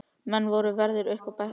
Menn voru á verði upp á þekjunni.